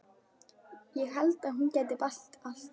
Ég held að hún geti bætt allt.